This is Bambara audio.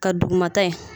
Ka dugumata ye